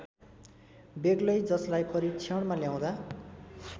बेग्लै जसलाई परीक्षणमा ल्याउँदा